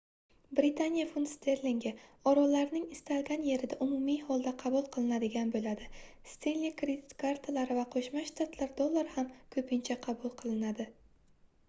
britaniya funt-sterlingi orollarning istalgan yerida umumiy holda qabul qilinadigan boʻladi stenli kredit kartalari va qoʻshma shtatlar dollari ham koʻpincha qabul qilinadi